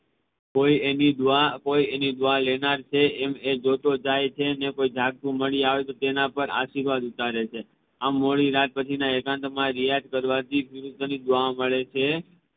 કોઈ એની દુઆ લેનાર છે કોઈ એની દુઆ લેનાર છે એમ એ જોતો જાય છે ને કોઈ જાગતું મળી જાય તો એના પાર આશિર્વદ ઉતારે છે આમ મોડી રાત પછી ના એકાંત માં રિયાઝ કરવા થી ગુરુઓ ની દુઆએ મળે છે